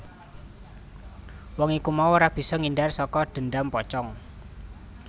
Wong iku mau ora bisa ngindar saka dhendham pocong